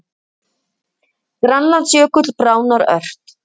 Grænlandsjökull bráðnar ört